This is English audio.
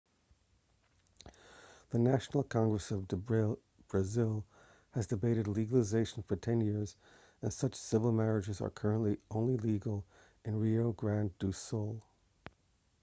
the national congress of brazil has debated legalization for 10 years and such civil marriages are currently only legal in rio grande do sul